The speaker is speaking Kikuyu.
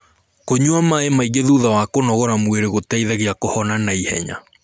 kũnyua maĩ maingi thutha wa kũnogora mwĩrĩ gũteithagia kuhona naihenya